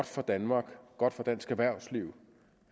for danmark godt for dansk erhvervsliv